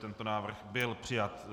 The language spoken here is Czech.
Tento návrh byl přijat.